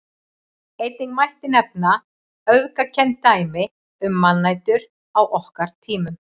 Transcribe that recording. Einnig mætti nefna öfgakennd dæmi um mannætur á okkar tímum.